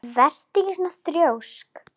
Vertu ekki svona þrjósk!